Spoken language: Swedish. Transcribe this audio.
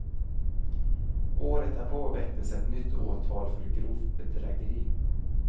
Året därpå väcktes ett nytt åtal för grovt bedrägeri.